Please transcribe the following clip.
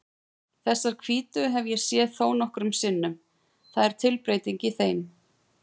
Þessar hvítu hef ég séð þónokkrum sinnum, það er tilbreyting í þeim.